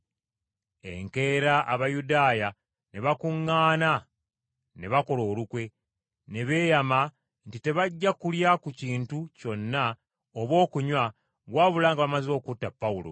Enkeera Abayudaaya ne bakuŋŋaana ne bakola olukwe. Ne beeyama nti tebajja kulya ku kintu kyonna oba okunywa, wabula nga bamaze okutta Pawulo!